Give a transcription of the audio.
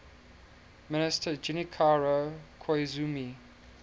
minister junichiro koizumi